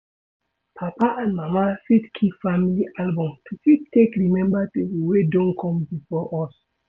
Papa and mama fit keep family album to fit take remember people wey don come before us